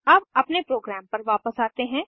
अब अपने प्रोग्राम पर वापस आते हैं